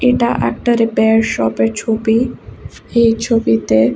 এটা একটা repair shop -এর ছবি এই ছবিতে--